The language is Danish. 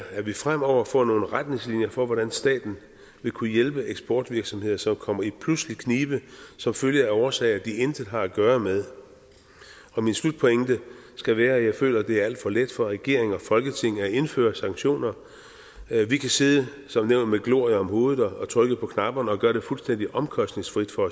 at vi fremover får nogle retningslinjer for hvordan staten vil kunne hjælpe eksportvirksomheder som kommer i pludselig knibe som følge af årsager de intet har at gøre med min slutpointe skal være at jeg føler at det er alt for let for regeringen og folketinget at indføre sanktioner vi kan sidde som nævnt med glorie om hovedet og trykke på knapperne og gøre det fuldstændig omkostningsfrit for